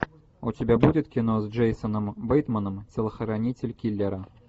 у тебя будет кино с джейсоном бейтманом телохранитель киллера